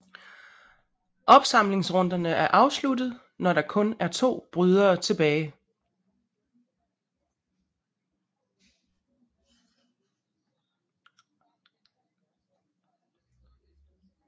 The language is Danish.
Opsamlingsrunderne er afsluttet når der kun er to brydere tilbage